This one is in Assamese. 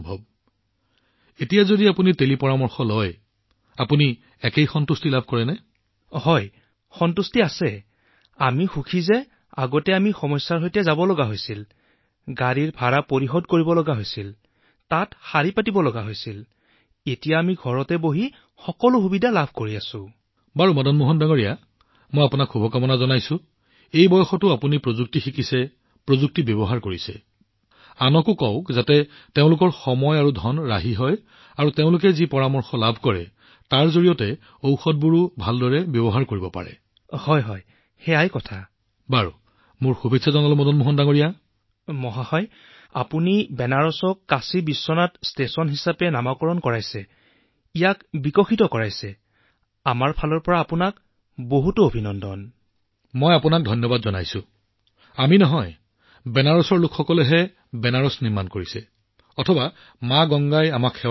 প্ৰধানমন্ত্ৰীঃ আৰু আপুনি টেলিকনচাৰ্জেন্সৰ জৰিয়তে আপোনাৰ অসুস্থতা সম্পৰ্কে প্ৰযুক্তিৰ সহায় লয়